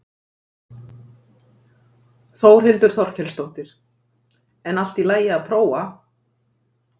Þórhildur Þorkelsdóttir: En allt í lagi að prófa?